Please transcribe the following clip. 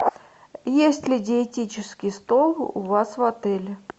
есть ли диетический стол у вас в отеле